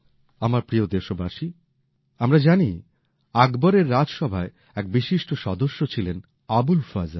আমার প্রিয় দেশবাসী আমরা জানি আকবরের রাজসভায় এক বিশিষ্ট সদস্য ছিলেন আবুল ফজল